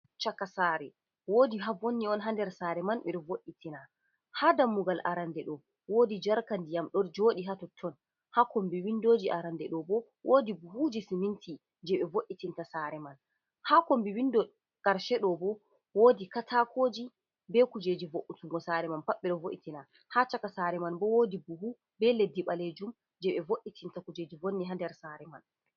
Chaka saare! Woodi haa vonni on haa nder saare man, ɓe ɗo vo’itina. Haa dammugal arande ɗo, woodi jarka ndiyam do jooɗi haa totton. Haa kombi windoji arande ɗo bo, woodi buhuji siminti jee ɓe vo’itinta saare man. Haa kombi windo karshe ɗo bo, woodi kataakooji be kujeji vo’utungo saare man pat ɓe ɗo vo’itina. Haa chaka saare man bo, woodi buhu be leddi ɓalejum jee ɓe vo’itinta kuujeji vonni haa nder saare man.